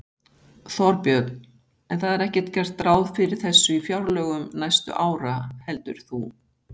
Þorbjörn: En það er ekkert gert ráð fyrir þessu í fjárlögum næstu ára heldur þú?